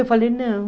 Eu falei, não.